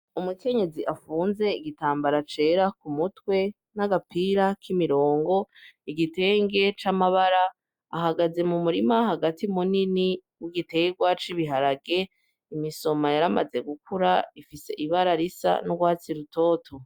Umukenyezi afunze igitambara cera ku mutwe n'agapira k'imirongo, igitenge c'amabara. Ahagaze mu murima hagati munini w'igiterwa c'ibiharage, imisoma yaramaze gukura, ifise ibara risa n'urwatsi rutoto.